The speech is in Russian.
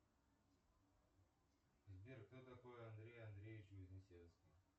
сбер кто такой андрей андреевич вознесенский